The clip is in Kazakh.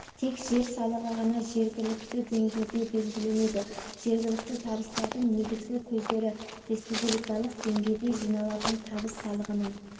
тек жер салығы ғана жергіәікті деңгейде белгіленеді жергілікті табыстардың негізгі көздері-республикалық деңгейде жиналатын табыс салығының